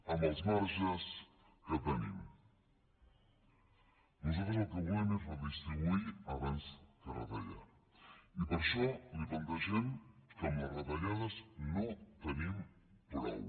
amb els marges que tenim nosaltres el que volem és redistribuir abans que retallar i per això li plantegem que amb les retallades no en tenim prou